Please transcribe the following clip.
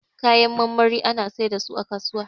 Kayan marmari ana sai da su a kasuwa